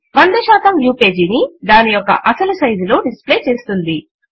100 view page ని దాని యొక్క అసలు సైజు లో డిస్ప్లే చేస్తుంది